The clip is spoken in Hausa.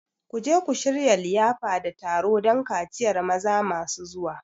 Ku je ku shirya liyafa da taro don kaciyar maza masu zuwa!